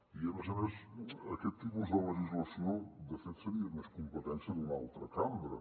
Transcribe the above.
i a més a més aquest tipus de legislació de fet seria més competència d’una altra cambra